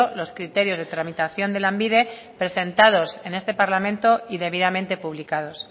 los criterios de tramitación de lanbide presentados en este parlamento y debidamente publicados